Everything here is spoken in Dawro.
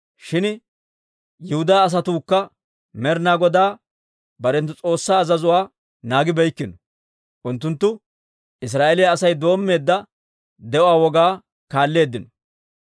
Shin Yihudaa asatuukka Med'ina Godaa barenttu S'oossaa azazuwaa naagibeykkino; unttunttu Israa'eeliyaa Asay doommeedda de'uwaa wogaa kaalleeddino.